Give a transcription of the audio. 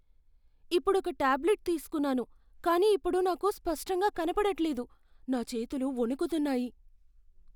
ఇప్పుడొక టాబ్లెట్ తీస్కున్నాను కానీ ఇప్పుడు నాకు స్పష్టంగా కనపడట్లేదు, నా చేతులు వణుకుతున్నాయి.